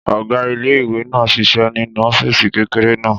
Ọ̀gá ilé-ìwé náà ṣiṣẹ́ nínú ọ́fìsì kékeré náà